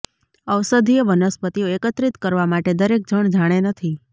ઔષધીય વનસ્પતિઓ એકત્રિત કરવા માટે દરેક જણ જાણે નથી